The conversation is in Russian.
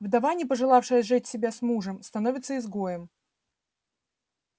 вдова не пожелавшая сжечь себя вместе с мужем становится изгоем